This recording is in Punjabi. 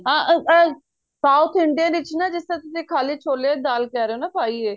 ਹਾਂ ਅਹ south Indian ਵਿੱਚ ਨਾ ਜਿਸ ਤਰ੍ਹਾਂ ਤੁਸੀਂ ਖਾਲੀ ਛੋਲਿਆਂ ਦੀ ਦਾਲ ਕਹਿ ਰਹੇ ਓ ਨਾ ਪਾਈ ਏ